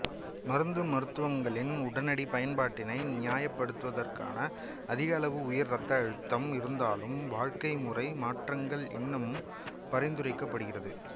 மருந்து மருத்துவங்களின் உடனடி பயன்பாட்டினை நியாயப்படுத்துவதற்கான அதிக அளவு உயர் இரத்த அழுத்தம் இருந்தாலும் வாழ்க்கைமுறை மாற்றங்களும் இன்னமும் பரிந்துரைக்கப்படுகிறது